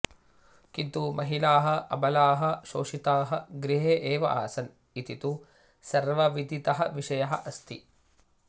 किन्तु महिलाः अबलाः शोषिताः गृहे एव आसन् इति तु सर्वविदितः विषयः अस्ति